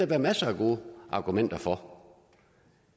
være masser af gode argumenter for